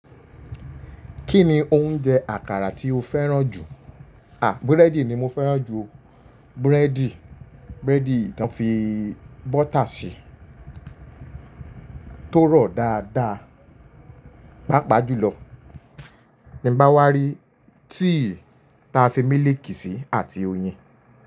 Kí ni oúnjẹ àkàrà tí o fẹ́ràn jù? À, búrẹ́dì ni mo fẹ́ràn jù. Búrẹ́dì, búrẹ́dì tó fi bọ́tà ṣe tó rọ̀ dáadáa. Pápá jùlọ ti bá wá rí tea ta fi mílìkì sí àti oyin.